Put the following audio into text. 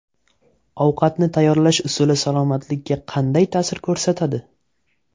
Ovqatni tayyorlash usuli salomatlikka qanday ta’sir ko‘rsatadi?.